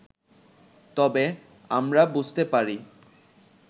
তবে আমরা বুঝতে পারি